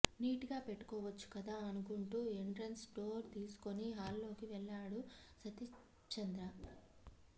neat గా పెట్టుకోవచ్చు కదా అనుకుంటూ ఎంట్రన్స్ డోర్ తీసుకొని హాల్లోకి వెళ్లాడు సతీష్చంద్ర